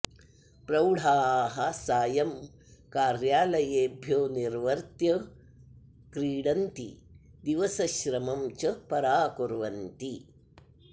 प्रौढाः सायं कार्यालयेभ्यो निर्वर्त्य क्रिडन्ति दिवसश्रमं च पराकुर्वन्ति